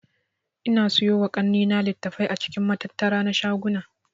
Ina siyowa kannena litattafai a cikin matattara na shaguna